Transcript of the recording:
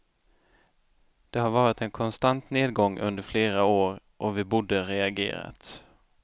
Det har varit en konstant nedgång under flera år och vi borde reagerat.